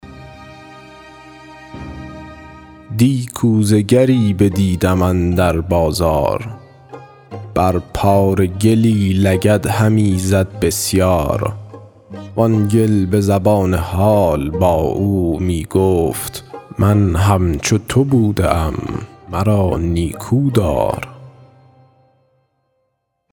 دی کوزه گری بدیدم اندر بازار بر پاره گلی لگد همی زد بسیار وآن گل به زبان حال با او می گفت من همچو تو بوده ام مرا نیکودار